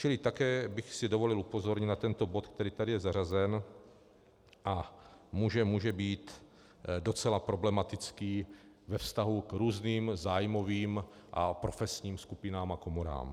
Čili také bych si dovolil upozornit na tento bod, který je tady zařazen a může být docela problematický ve vztahu k různým zájmovým a profesním skupinám a komorám.